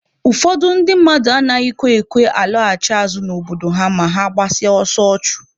Ụfọdụ ndị mmadụ anaghịkwa ekwe alọghachi azụ n'obodo ha ma ha gbasịa ọsọ ọchụ.